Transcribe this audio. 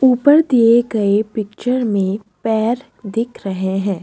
ऊपर दिए गए पिक्चर में पैर दिख रहे हैं।